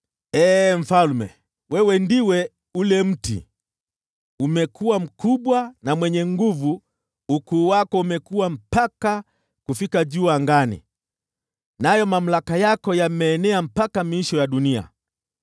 Ee mfalme, wewe ndiwe ule mti! Umekuwa mkubwa na mwenye nguvu, nao ukuu wako umekua mpaka kufika juu angani, nayo mamlaka yako yameenea mpaka miisho ya dunia.